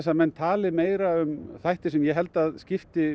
að menn tali meira um þætti sem ég held að skipti